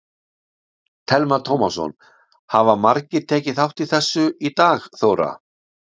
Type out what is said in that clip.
Telma Tómasson: Hafa margir tekið þátt í þessu í dag Þóra?